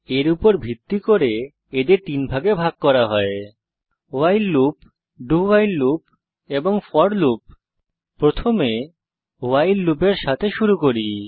এর উপর ভিত্তি করে এদের তিনভাগে ভাগ করা হয় ভাইল লুপ dowhile লুপ এবং ফোর লুপ প্রথমে ভাইল লুপ এর সাথে শুরু করি